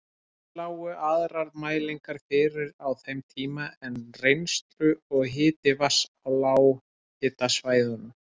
Ekki lágu aðrar mælingar fyrir á þeim tíma en rennsli og hiti vatns á lághitasvæðunum.